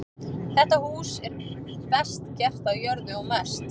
Það hús er best gert á jörðu og mest.